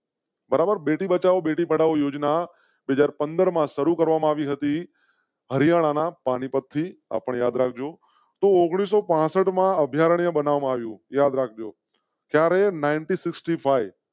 બરાબર બેટી બચાઓ બેટી પઢાઓ યોજના એક હાજર પંદર માં શરૂ કરવામાં આવી હતી. હરિયાણા ના પાનીપત થી આ યાદ રાખ જો. તો ઓડીઓ ઓગણીસો પાસઠ માં અભયારણ્ય બનાવા યું ત્યારે ઓગણીસો પાસઠ